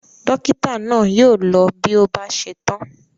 Dọ́kítá náà yóò lọ bí ó bá ṣe tán.